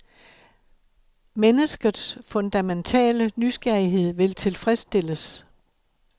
Menneskets fundamentale nysgerrighed vil tilfredsstilles.